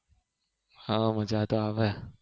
હા મજા તો આવે